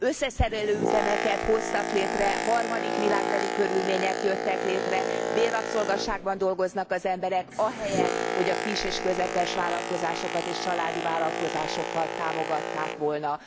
Összeszerelő üzemeket hoztak létre, harmadik világbeli körülmények jöttek létre, bérrabszolgaságban dolgoznak az emberek ahelyett, hogy a kis és közepes vállalkozásokat és családi vállalkozásokat támogatták volna.